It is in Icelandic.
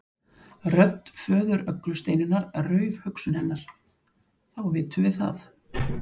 Rödd föður Öglu Steinunnar rauf hugsun hennar: Þá vitum við það.